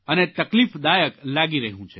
અને તકલીફદાયક લાગી રહ્યું છે